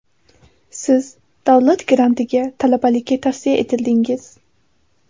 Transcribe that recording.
Siz davlat GRANTiga talabalikka tavsiya etildingiz.